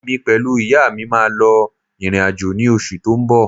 Èmi pẹ̀lú ìyá mi máa lọ ìrìn-àjò ní oṣù tó ń bọ̀